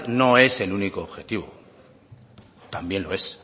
no es el único objetivo también lo es